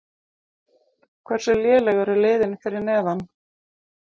Hversu léleg eru liðin fyrir neðan?